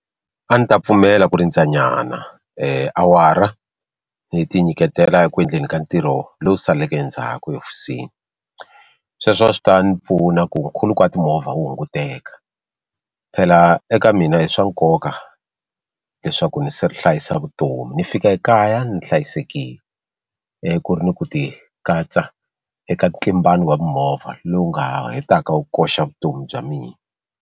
A ni ta pfumela ku rindza nyana awara ni tinyiketela eku endleni ka ntirho lowu saleke endzhaku ehofisini sweswo a swi ta ni pfuna ku khuluko wa timovha wu hunguteka phela eka mina i swa nkoka leswaku Ni hlayisa vutomi ni fika ekaya ni hlayisekile ku ri ni ku ti katsa eka ntlimbano wa mimovha lowu nga hetaka wu koxa vutomi bya mina.